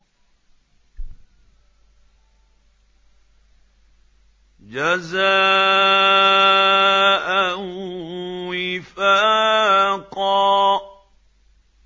جَزَاءً وِفَاقًا